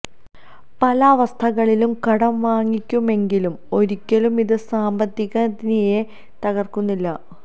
പല അവസ്ഥകളിലും കടം വാങ്ങിക്കുമെങ്കിലും ഒരിക്കലും ഇത് സാമ്പത്തിക നിലയെ തകര്ക്കുന്നില്ല